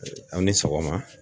Aw ni sɔgɔma.